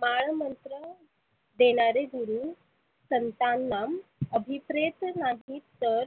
माळ मंत्र देणारे गुरु संतांना आभीप्रेत नाहीत तर